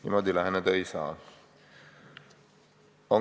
Niimoodi läheneda ei saa!